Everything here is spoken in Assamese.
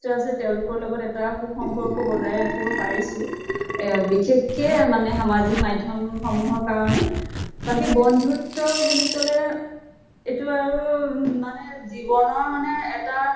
আছে তেওঁলকৰ লগত এটা সু সম্পৰ্ক বজাই ৰাখিব পাৰিছো। এহ বিশেষকে মানে সামাজিক মাধ্য়ম সমুহৰ কাৰণে। বাকী বন্ধুত্ব বুলি কলে এইটো আৰু মানে জীৱনৰ মানে এটা